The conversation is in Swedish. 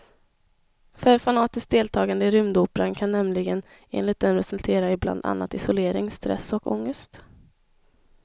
För fanatiskt deltagande i rymdoperan kan nämligen enligt dem resultera i bland annat isolering, stress och ångest.